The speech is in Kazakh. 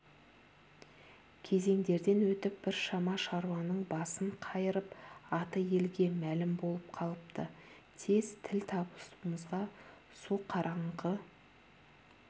кезеңдерден өтіп біршама шаруаның басын қайырып аты елге мәлім болып қалыпты тез тіл табысуымызға суқараңғы